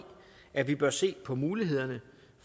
at vi bør se på mulighederne